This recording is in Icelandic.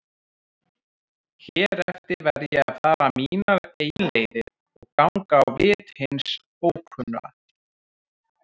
Hér eftir verð ég að fara mínar eigin leiðir og ganga á vit hins ókunna.